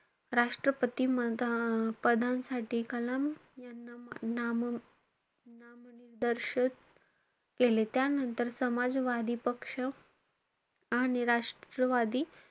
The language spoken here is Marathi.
राष्ट्रपती पदांसाठी कलाम यांना नाम~ नामनिदर्शक केले. त्यानंतर समाजवादी पक्ष आणि राष्ट्रवादी,